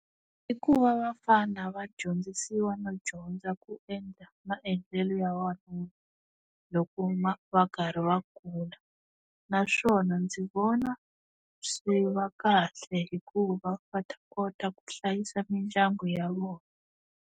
I ku va vafana va dyondzisiwa no dyondza ku endla maendlelo ya wanuna loko va karhi va kula naswona ndzi vona swi va kahle hikuva va ta kota ku hlayisa mindyangu ya vona.